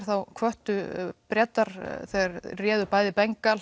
þá hvöttu Bretar þeir réðu bæði